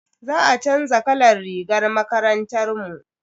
Za a chanza kalan rigar makarantar mu.